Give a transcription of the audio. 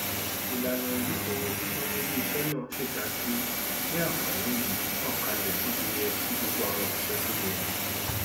ìlànà ìyípo sísanwó iléiṣẹ náà ṣèdájú pé ànfààní yìí ń tàn kálẹ bóṣeyẹ sí gbogbo àwọn oṣiṣẹ tó yẹ